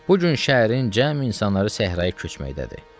Bu gün şəhərin cəm insanları səhraya köçməkdədir.